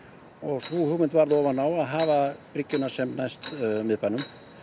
sú hugmynd varð ofan á að hafa bryggjuna sem næst miðbænum